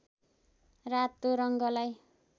रातो रङ्गलाई